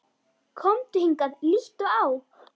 Komdu hingað, líttu á!